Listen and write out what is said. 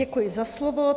Děkuji za slovo.